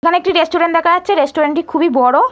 এখানে একটি রেস্টুরেন্ট দেখা যাচ্ছে রেস্টুরেন্ট টি খুবই বড়।